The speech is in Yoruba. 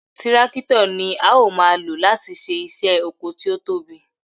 Tírákítọ̀ ni a ó máa lò láti ṣe iṣẹ́ oko tí ó tóbi